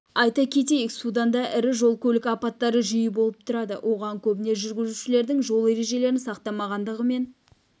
айта кетейік суданда ірі жол-көлік апаттары жиі болып тұрады оған көбіне жүргізушілердің жол ережелерін сақтамағандығы мен